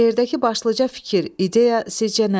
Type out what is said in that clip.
Şeirdəki başlıca fikir, ideya sizcə nədir?